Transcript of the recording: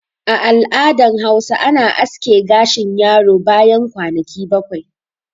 A al'adan Hausa ana aske gashin yaro bayan kwanaki bakwai